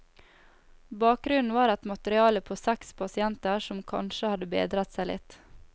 Bakgrunnen var et materiale på seks pasienter som kanskje hadde bedret seg litt.